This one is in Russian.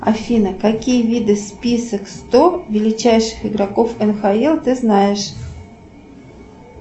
афина какие виды список сто величайших игроков нхл ты знаешь